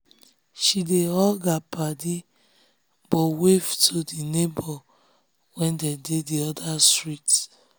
she dey hug her paddy but wave to the to the neighbor wey dey the other street.